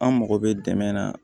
An mago bɛ dɛmɛ na